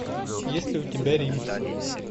есть ли у тебя рим